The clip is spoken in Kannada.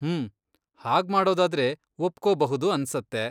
ಹ್ಮ್, ಹಾಗ್ಮಾಡೋದಾದ್ರೆ ಒಪ್ಕೊಬಹುದು ಅನ್ಸತ್ತೆ.